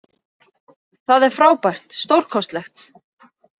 Það er frábært, stórkostlegt.